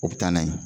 O bɛ taa n'a ye